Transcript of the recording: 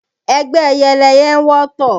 Ẹgbẹ́ ẹyẹ lẹyẹ ń wọ́tọ̀